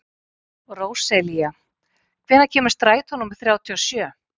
Róselía, hvenær kemur strætó númer þrjátíu og sjö?